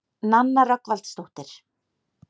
Nanna Rögnvaldsdóttir.